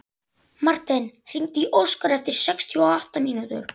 Ljótunn, hvaða dagur er í dag?